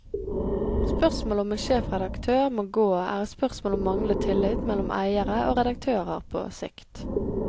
Spørsmålet om en sjefredaktør må gå er et spørsmål om manglende tillit mellom eiere og redaktører på sikt.